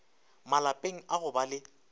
malapeng a go ba le